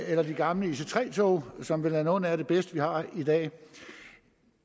eller de gamle ic3 tog som vel er nogle af de bedste vi har i dag